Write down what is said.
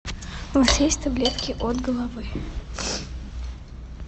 у вас есть таблетки от головы